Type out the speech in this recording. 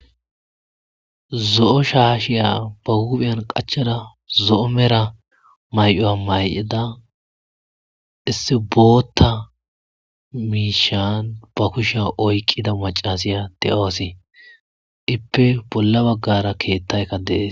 Zo'o shaashiya ba huphiyan qachchada zo'o mera may'uwa may'ada issi bootta miishshan ba kushiya oyqqida maccasiya de'awus; ippe bolla baggara keettaykka de'es.